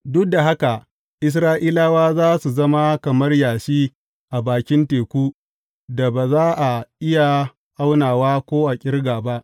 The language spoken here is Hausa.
Duk da haka Isra’ilawa za su zama kamar yashi a bakin teku, da ba za a iya aunawa ko a ƙirga ba.